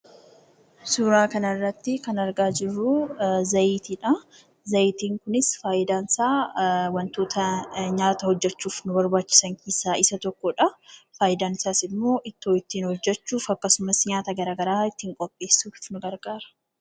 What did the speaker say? Suuraa kanarratti kan argaa jirru zayitiidha. Zayitiin kunis fayidaansaa wantoota nyaata hojjachuuf barbaachisan keessaa isa tokkodha. Fayidaan isaas immoo ittoo ittiin hojjachuuf akkasumas nyaata garaagaraa ittiin qopheessuuf nu gargaara.